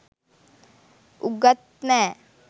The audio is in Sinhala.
උගත් නෑ